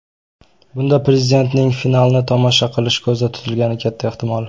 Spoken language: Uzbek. Bunda prezidentning finalni tomosha qilishi ko‘zda tutilgani katta ehtimol.